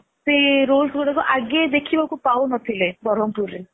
ସେ rolls ଗୁଡାକ ଆଗେ ଦେଖିବା କୁ ପାଉ ନ ଥିଲେ ବ୍ରହ୍ମପୁରରେ